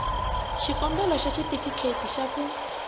xikombelo xa xitifiketi xa ku